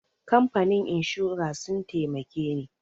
Kamfanin inshora sun taimake ni.